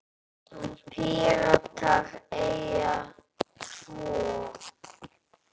Píratar eiga tvo.